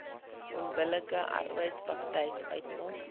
onbillike arbeidspraktyk uitmaak